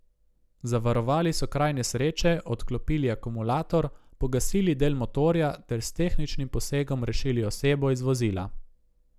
Zavarovali so kraj nesreče, odklopili akumulator, pogasili del motorja ter s tehničnim posegom rešili osebo iz vozila.